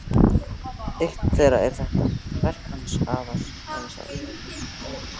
Eitt þeirra er þetta: Verk hans hafa sál.